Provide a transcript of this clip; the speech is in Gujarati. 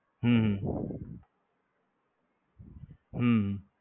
હમ હમ